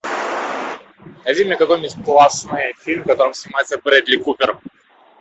найди мне какой нибудь классный фильм в котором снимается брэдли купер